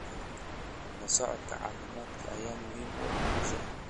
La socodka caafimaadka ayaa muhiim u ah guusha.